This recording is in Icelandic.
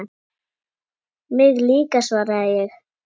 Mig líka svaraði ég.